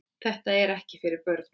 Þetta er ekki fyrir börn.